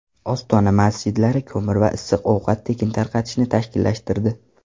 Ostona masjidlari ko‘mir va issiq ovqat tekin tarqatishni tashkillashtirdi.